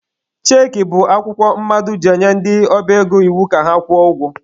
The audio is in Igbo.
Cheekị bụ akwụkwọ mmadụ ji enye ndị ọba ego iwu ka akwụọ ụgwọ